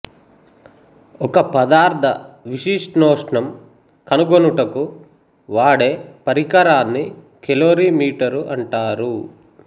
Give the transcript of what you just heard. ఒక పదార్థ విశిష్టోష్ణం కనుగొనుటకు వాడే పరికరాన్ని కెలోరీ మీటరు అంటారు